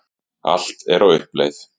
Allt er á uppleið.